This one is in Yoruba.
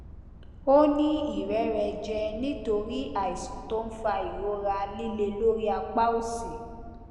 ó ní ìrẹrẹjẹ nítorí àìsàn tó ń fa ìrora líle lórí apá òsì